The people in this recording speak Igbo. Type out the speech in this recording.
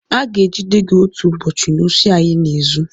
Aga-egide gị otu ụbọchị n'osi a ịna-ezu!